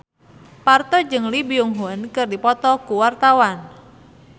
Parto jeung Lee Byung Hun keur dipoto ku wartawan